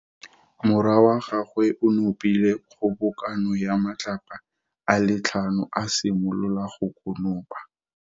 Morwa wa gagwe o nopile kgobokano ya matlapa a le tlhano, a simolola go konopa.